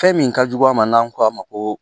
Fɛn min ka jugu a ma n'an ko a ma ko